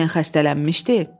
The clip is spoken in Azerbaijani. Olmayan xəstələnmişdi?